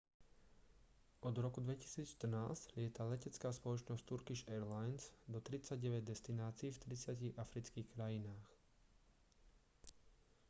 od roku 2014 lieta letecká spoločnosť turkish airlines do 39 destinácií v 30 afrických krajinách